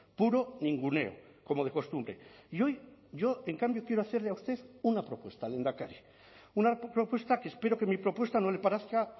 puro ninguneo como de costumbre y hoy yo en cambio quiero hacerle a usted una propuesta lehendakari una propuesta que espero que mi propuesta no le parezca